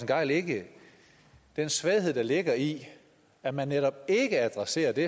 gejl ikke den svaghed der ligger i at man netop ikke adresserer det